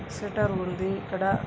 Sweater ఉంది ఇక్కడ.